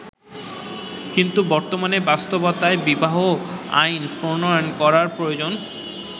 কিন্তু বর্তমানের বাস্তবতায় বিবাহ আইন প্রণয়ন করা প্রয়োজন।